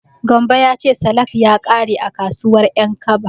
Gambo ya ce salak ya ƙare a kasuwar Ƴankaba.